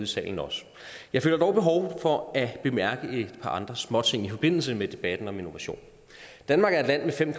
salen også jeg føler dog behov for at bemærke et par andre småting i forbindelse med debatten om innovation danmark er et land med fem